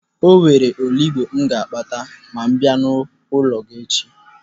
Enwere olugbu m ga-akpata ma m bịa n'ụlọ gị echi?